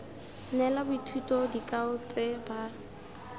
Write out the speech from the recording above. neela boithuti dikao tse ba